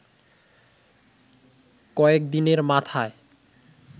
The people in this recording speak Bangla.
কয়েকদিনের মাথায়